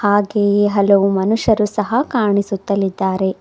ಹಾಗೆಯೇ ಹಲವು ಮನುಷ್ಯರು ಸಹ ಕಾಣಿಸುತ್ತಲ್ಲಿದ್ದಾರೆ.